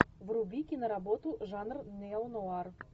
вруби киноработу жанр неонуар